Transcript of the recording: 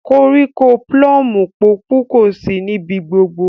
Koríko plumu pọpu kosi nibi gbogbo.